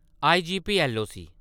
IGP LOC